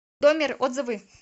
доммер отзывы